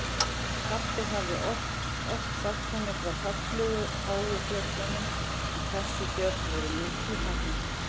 Pabbi hafði oft sagt henni frá fallegu háu fjöllunum en þessi fjöll voru miklu hærri.